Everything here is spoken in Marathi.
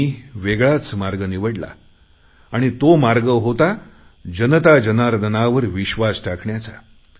मी वेगळाच मार्ग निवडला आणि तो मार्ग होता जनता जनार्दनावर विश्वास टाकण्याचा